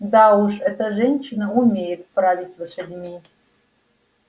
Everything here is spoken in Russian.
да уж эта женщина умеет править лошадьми